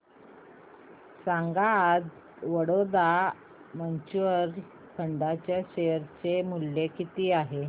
सांगा आज Baroda mutual fund च्या शेअर चे मूल्य किती आहे